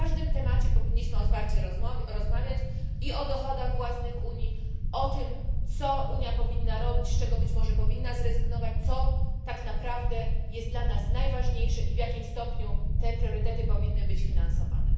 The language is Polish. O każdym temacie powinniśmy otwarcie rozmawiać i o dochodach własnych Unii, o tym, co Unia powinna robić, z czego być może powinna zrezygnować, co tak naprawdę jest dla nas najważniejsze i w jakim stopniu te priorytety powinny być finansowane.